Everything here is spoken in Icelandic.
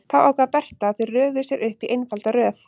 Þá ákvað Berta að þau röðuðu sér upp í einfalda röð.